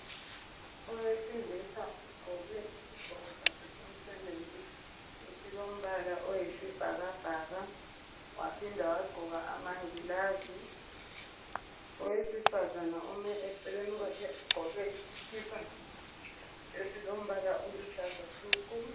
Owesilisa ogqoke isigqoko sakhe somsebenzi esilombala oyisibhakabhaka waphinda wagqoka amangilazi. Owesifanaza ome eceleni kwakhe ugqoke isikipa esilombala oluhlaza tshoko.